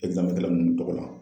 ninnu tɔgɔ la.